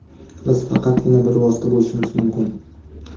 Biz faqatgina bir vosita bo‘lishimiz mumkin.